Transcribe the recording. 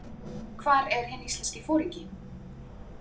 Hvar er hinn íslenski foringi?